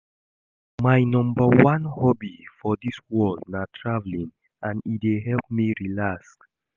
My number one hobby for dis world na traveling and e dey help me relax